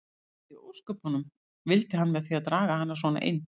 Hvað í ósköpunum vildi hann með því að draga hana svona inn.